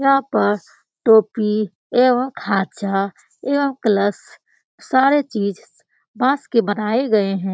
यहां पस टोपी एवं खांचा एवं कलश सारे चीज बांस के बनाए गए हैं।